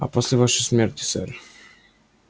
а после вашей смерти сэр